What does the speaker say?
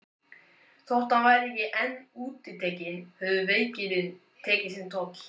Þótt hann væri enn útitekinn höfðu veikindin tekið sinn toll.